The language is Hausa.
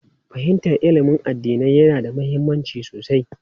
Fahimtar ilimin addinai yana da mahimmanci sosai.